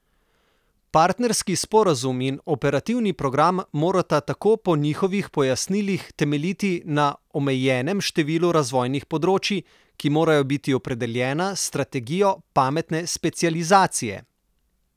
Partnerski sporazum in operativni program morata tako po njihovih pojasnilih temeljiti na omejenem številu razvojnih področij, ki morajo biti opredeljena s strategijo pametne specializacije.